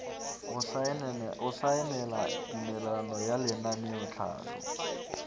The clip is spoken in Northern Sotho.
go saenela tumelelano ya lenaneotlhahlo